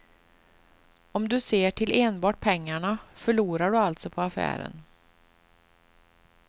Om du ser till enbart pengarna, förlorar du alltså på affären.